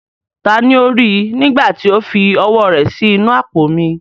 Taani ó rí i, nígbà tí ó fi ọwọ́ rẹ̀ sí inú àpò mi?